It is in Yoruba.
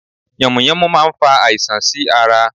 Yànmùyánmú n fa àisàn sí ara